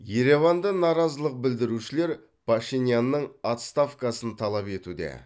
ереванда наразылық білдірушілер пашинянның отставкасын талап етуде